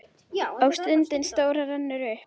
Og stundin stóra rennur upp.